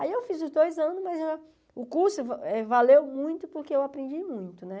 Aí eu fiz os dois anos, mas o curso valeu muito porque eu aprendi muito, né?